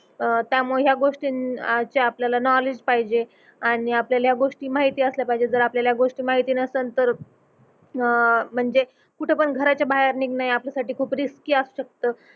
अह त्यामुळे या गोष्टीं अह ची आपल्याला नोवलेड्ज पाहिजे आणि आपल्याला या गोष्टी माहिती असल्या पाहिजे जर आपल्याला या गोष्टी माहिती नसेन तर अह म्हणजे कुठ पण घराच्या बाहेर निघण हे आपल्यासाठी खूप रिस्की असू शकत